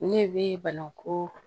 Ne bɛ banaŋu